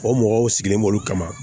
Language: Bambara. O mɔgɔw sigilen b'olu kama